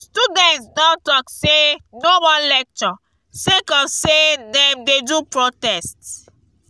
students don tok sey no more lecture sake of sey dem dey do protest.